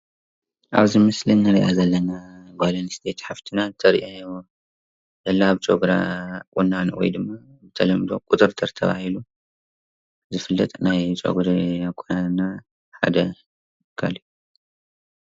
ኣብዚ ምስሊ ከምእንርእዮ ዘለና ጎል ኣንስትየቲ ሓፍትና ተርእየና ዘላ ፀጉራ ቁናኖ ወይ ድማ ብተለምዶ ቁጥጥር ተባህሉ ዝፍለጥ ናይ ፀጉሪ ኣቆናንና ሓደ እዩ።